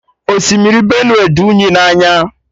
Osimiri Benue dị unyi na anya